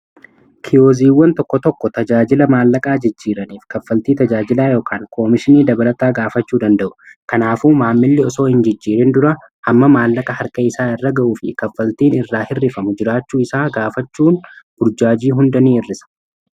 kioziiwwan tokko tokko tajaajila maallaqaa jijjiiraniif kaffaltii tajaajilaa yookiin koomishnii dabalata gaafachuu danda'u kanaafuu maammilli osoo hin jijjiirin dura amma maallaqa harka isaa irra ga'u fi kaffaltiin irraa hirrifamu jiraachuu isaa gaafachuun burjaajii hunda nii hir'isa